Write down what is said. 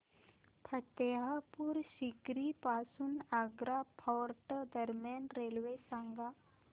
फतेहपुर सीकरी पासून आग्रा फोर्ट दरम्यान रेल्वे सांगा